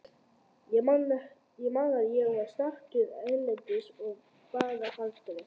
Ég man að ég var staddur erlendis og bara hágrét.